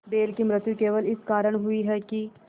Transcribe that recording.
बैल की मृत्यु केवल इस कारण हुई कि